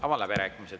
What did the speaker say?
Avan läbirääkimised.